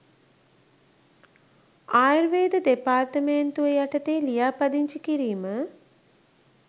ආයුර්වේද දෙපාර්තමේන්තුව යටතේ ලියාපදිංචි කිරීම